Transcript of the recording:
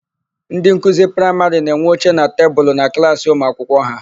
Ndị nkuzi praịmarị na-enwe oche na tebulu na klaasị ụmuakwụkwọ ha.